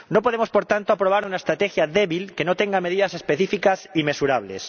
No podemos, por tanto, aprobar una estrategia débil que no tenga medidas específicas y mesurables.